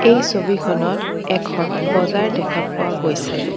এই ছবিখনত এখন বজাৰ দেখা পোৱা গৈছে।